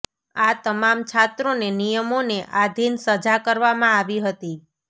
આ તમામ છાત્રોને નિયમોને આધિન સજા કરવામાં આવી હતી